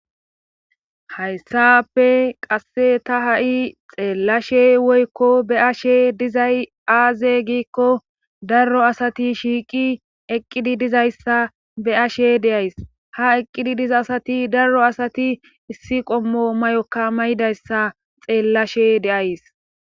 Hayssappe qasse ta ha'i xeellashe woykko be ashe dizay aaze giikko darro asati shiiqi eqqidi dizayssa be ashe deays ha eqqidi diza asati darro asati issi qommo may'okka may'idayssa xeellashe deays.